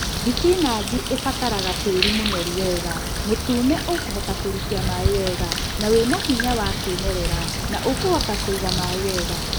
Thibinachi ĩbataraga tĩri mũnoru wega mũtune ũkũhota kũrikia maĩĩ wega na wĩna hinya wa kĩmerela na ũkuhota kũiga maĩĩ wega